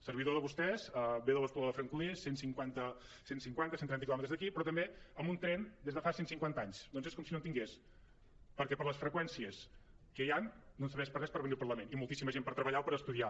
servidor de vostès ve de l’espluga de francolí a cent i cinquanta cent i trenta quilòmetres d’aquí però també amb un tren des de fa cent cinquanta anys doncs és com si no en tingués perquè per les freqüències que hi han no em serveix per a res per venir al parlament i moltíssima gent per treballar o per estudiar